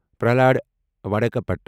Pralhad وڈاکپٹ